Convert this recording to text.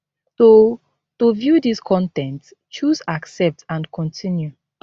to to view dis con ten t choose accept and continue